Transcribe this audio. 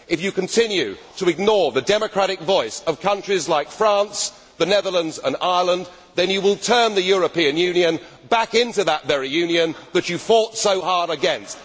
If you continue to ignore the democratic voice of countries like France, the Netherlands and Ireland, then you will turn the European Union back into that very Union that you fought so hard against.